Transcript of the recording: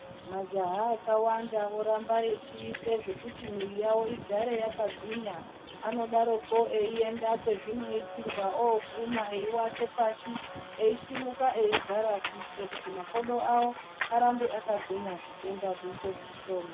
Majaha akawanda voramba echiite zvekuti mwiri yavo igare yakagwinya anodaroko eienda kwezvinoitirwa oguma eiwate pashi eisimuka eigara kuitire kuti makodo arambe akagwinya zvitenda zviite zvishoma.